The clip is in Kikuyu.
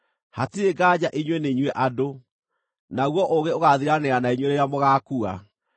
“Hatirĩ nganja inyuĩ nĩ inyuĩ andũ, naguo ũũgĩ ũgaathiranĩra na inyuĩ rĩrĩa mũgaakua!